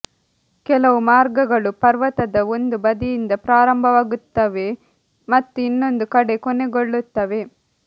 ಕೆಲವು ಮಾರ್ಗಗಳು ಪರ್ವತದ ಒಂದು ಬದಿಯಿಂದ ಪ್ರಾರಂಭವಾಗುತ್ತವೆ ಮತ್ತು ಇನ್ನೊಂದು ಕಡೆ ಕೊನೆಗೊಳ್ಳುತ್ತವೆ